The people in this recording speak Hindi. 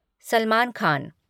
सलमान खान